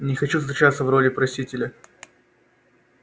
не хочу встречаться в роли просителя